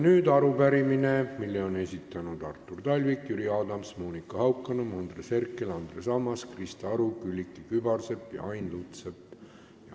Nüüd arupärimine, mille on esitanud Artur Talvik, Jüri Adams, Monika Haukanõmm, Andres Herkel, Andres Ammas, Krista Aru, Külliki Kübarsepp ja Ain Lutsepp.